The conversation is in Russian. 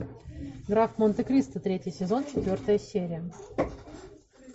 граф монте кристо третий сезон четвертая серия